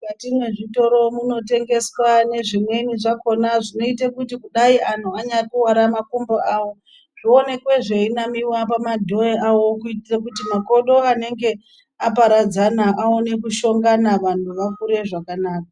Mukati mwezvitoro munotengeswa nezvimweni zvakhona zvinoita kuti kudai anhu anyakuwara makumbo awo zvoonekwe zveinamiwa pamadhoyo awo kuitira kuti makodo anenge aparadzana aone kushongana anhu akure zvakanaka.